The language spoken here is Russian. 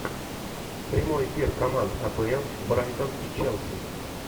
прямой эфир команд апл брайтон и челси